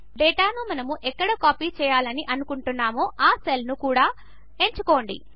ఇంకా డేటాను మనము ఎక్కడ కాపీ చేయాలని అనుకుంటామో ఆ సెల్స్ను కూడా ఎంచుకోండి